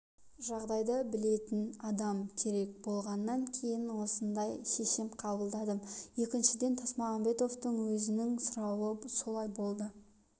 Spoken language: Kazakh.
жағдайды білетін адам керек болғаннан кейін осындай шешім қабылдадым екіншіден тасмағамбетовтың өзінің сұрауы солай болды